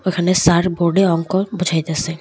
এখানে sir board -এ অংক বুঝাইতেসে।